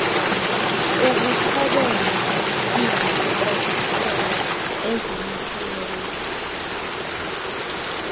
ukuthobela izikhokelo ezimisiweyo